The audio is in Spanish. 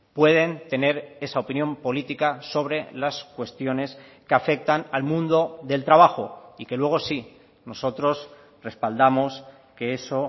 pueden tener esa opinión política sobre las cuestiones que afectan al mundo del trabajo y que luego sí nosotros respaldamos que eso